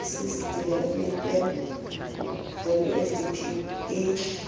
services development plan wsdp e